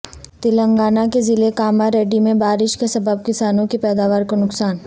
تلنگانہ کے ضلع کاماریڈی میں بارش کے سبب کسانوں کی پیداوار کو نقصان